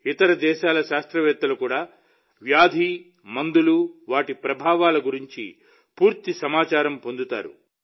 ఇతర దేశాల శాస్త్రవేత్తలు కూడా వ్యాధి మందులు వాటి ప్రభావాల గురించి పూర్తి సమాచారాన్ని పొందుతారు